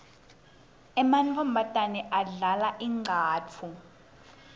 emantfombatane adlala incatfu